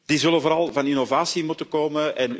Die zullen vooral van innovatie moeten komen.